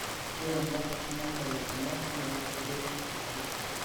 ore baat ekuna belekenyat naa keirobiri te kitisho